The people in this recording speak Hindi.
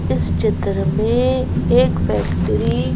इस चित्र में एक फैक्ट्री --